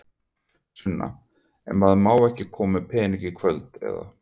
Sunna: En maður má ekki koma með peninga í kvöld, eða?